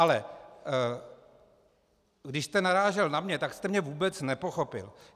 Ale když jste narážel na mě, tak jste mě vůbec nepochopil.